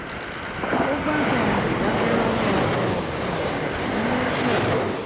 ó gbádùn ìdákẹ́rọ́rọ̀ àwọn òpin ọ̀sẹ̀ nílé pẹ̀lú